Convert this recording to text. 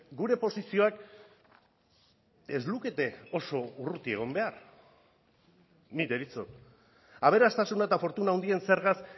gure posizioak ez lukete oso urruti egon behar ni deritzot aberastasuna eta fortuna handien zergaz